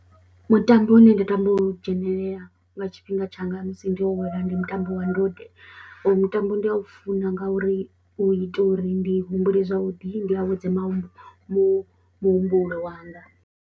Mutambo une nda tama u dzhenelela nga tshifhinga tshanga musi ndi awala ndi mutambo wa ndode uyubmutambo ndi a u funa ngauri u itela uri ndi humbule zwavhuḓi, ndi awedze mahu muhumbulo wanga.